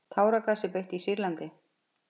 Táragasi beitt í Sýrlandi